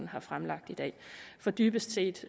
har fremsat i dag dybest set